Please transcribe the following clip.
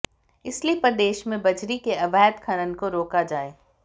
इसलिए प्रदेश में बजरी के अवैध खनन को रोका जाए